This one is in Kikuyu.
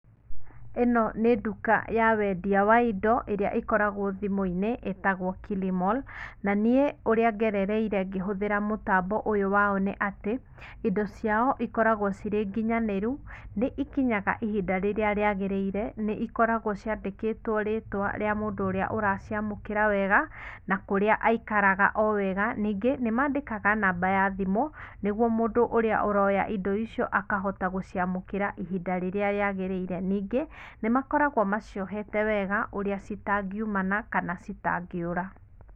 Ĩno nĩ nduka ya wendia wa indo ĩrĩa ĩkoragwo thĩmũinĩ ĩtagwo Kilimall na niĩ ũríĩ ngerereire ngĩbũthĩra mtambo ũyũ wao nĩ atĩ, ino cia ikoragwo cirĩnginyanĩru nĩikinya ihinda rĩrĩa rĩagĩrĩire nĩ ikoragwo ciandĩkĩtwe rĩtwa rĩa mũndũ ũrĩa ũraciamũkĩra wega na kũrĩa aikaraga owega ningĩ nĩmandĩkaga namba ya thimũ nĩguo mũndũ ũrĩa ũroya indo icio akahota gũciamũkĩra ihinda rĩrĩa rĩagĩrĩire ningĩ nĩmakoragwo maciohete wega ũrĩa citangiumana kana citangĩũra.